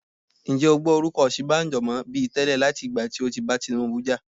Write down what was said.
Ǹjẹ́ o gbọ́ orúkọ Osinbajo mọ bi tẹ́lẹ̀ láti ìgbà tí ó ti bá Tinubu jà?